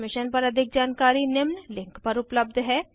इस मिशन पर अधिक जानकारी निम्न लिंक पर उपलब्ध है